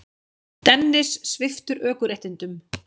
Dennis sviptur ökuréttindum